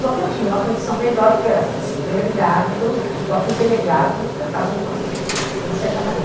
Só que eu tinha uma condição melhor, porque eu era filha de delegado, então os os próprios delegados me tratavam de uma de uma certa maneira.